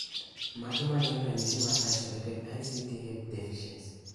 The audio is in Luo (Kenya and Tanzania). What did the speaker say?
Mage magin ranyisi mag Isolated ACTH deficiency?